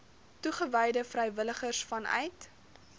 toegewyde vrywilligers vanuit